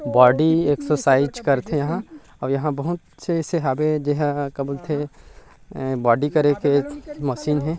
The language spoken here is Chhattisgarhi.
बॉडी एक्सरसाइज करथे यहाँ अउ यहाँ बहुत से अइसे हाबे जेहा का बोलथे बॉडी करे के मशीन हे ।